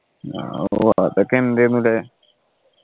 ആഹ് ഓ അതൊക്കെ എന്തായിരുന്നു അല്ലേ